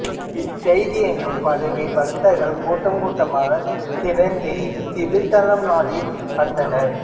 இச்செய்தி எங்கும் பரவி பக்தர்கள் கூட்டம் கூட்டமாக திரண்டு இத்திருத்தலம் நாடி வந்தனர்